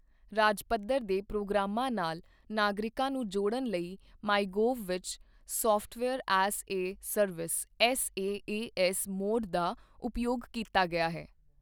ਰਾਜ ਪੱਧਰ ਦੇ ਪ੍ਰੋਗਰਾਮਾਂ ਨਾਲ ਨਾਗਰਿਕਾਂ ਨੂੰ ਜੋੜਨ ਲਈ ਮਾਈਗੌਵ ਵਿੱਚ software as a service SaaS mode ਦਾ ਉਪਯੋਗ ਕੀਤਾ ਗਿਆ ਹੈ।